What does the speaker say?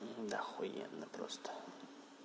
да охуенно просто